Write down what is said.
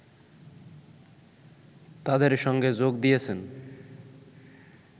তাদের সঙ্গে যোগ দিয়েছেন